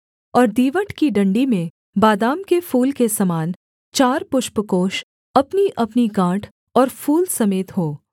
और दीवट की डण्डी में बादाम के फूल के समान चार पुष्पकोष अपनीअपनी गाँठ और फूल समेत हों